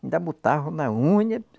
Ainda botava na unha.